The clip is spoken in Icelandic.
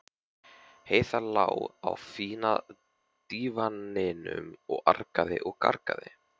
Heiða lá á fína dívaninum og argaði og gargaði.